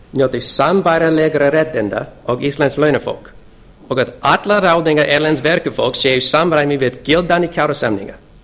njóti sambærilega réttinda og íslenskt launafólk og að allar ráðningar erlends verkafólks séu í samræmi við gildandi kjarasamninga